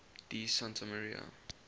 di santa maria